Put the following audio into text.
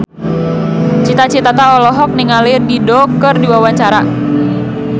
Cita Citata olohok ningali Dido keur diwawancara